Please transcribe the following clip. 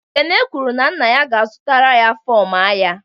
Ekene kwuru na nna ya ga-azụtara ya fọm agha